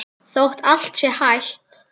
Þótt allt sé hætt?